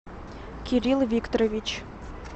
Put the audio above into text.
кирилл викторович